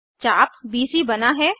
चाप बीसी बना है